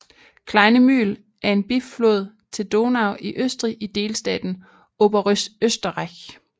Kleine Mühl er en biflod til Donau i Østrig i delstaten Oberösterreich